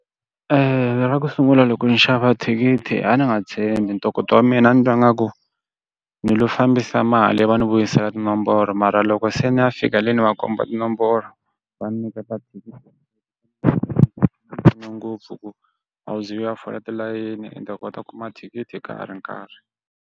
Eya. ra ku sungula loko ni xava thikithi a ni nga tshembi ntokoto wa mina ni twa nga ku ni lo fambisa mali va ni vuyisela tinomboro mara loko se ni ya fika le ni va komba tinomboro va nyiketa thikithi ngopfu ku a wu ze u va o fola tilayini ta kota ku mathikithi ka ha ri nkarhi.